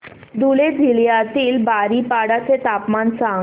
धुळे जिल्ह्यातील बारीपाडा चे तापमान सांग